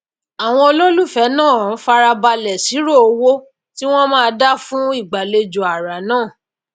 àwon olólùfèé náà farabàlè sírò owó tíwón máá dá fún ìgbàlejò àrà nàà